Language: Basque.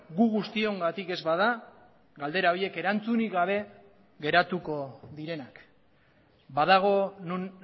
gu guztiongatik ez bada galdera horiek erantzunik gabe geratuko direnak badago non